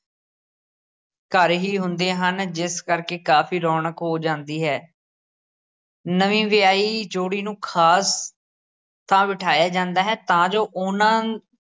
ਘਰ ਹੀ ਹੁੰਦੇ ਹਨ ਜਿਸ ਕਰਕੇ ਕਾਫੀ ਰੌਣਕ ਹੋ ਜਾਂਦੀ ਹੈ ਨਵੀਂ ਵਿਆਹੀ ਜੋਡੀ ਨੂੰ ਖਾਸ ਥਾਂ ਬਿਠਾਇਆ ਜਾਂਦਾ ਹੈ ਤਾਂ ਜੋ ਉਹਨਾਂ